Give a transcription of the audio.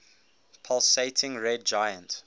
pulsating red giant